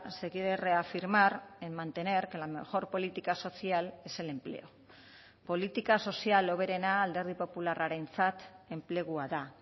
se quiere reafirmar en mantener que la mejor política social es el empleo politika sozial hoberena alderdi popularrarentzat enplegua da